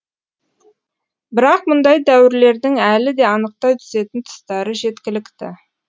бірақ мұндай дәуірлердің әлі де анықтай түсетін тұстары жеткілікті